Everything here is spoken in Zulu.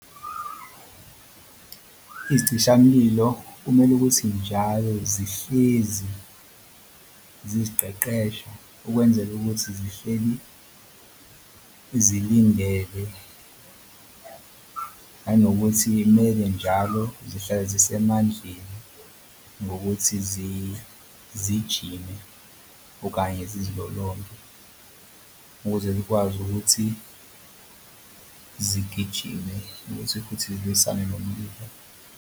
Izicishamlilo kumele ukuthi njalo zihlezi ziziqeqesha ukwenzela ukuthi zihleli zilindele nanokuthi kumele njalo zihlale zisemaphandleni ngokuthi zijime okanye zizilolonga ukuze zikwazi ukuthi zigijime nokuthi futhi zilwisane nomlilo.